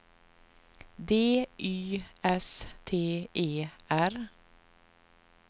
D Y S T E R